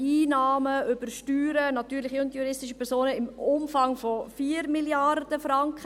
Wir haben über die Steuern natürlicher und juristischer Personen Einnahmen im Umfang von ungefähr 4 Mrd. Franken.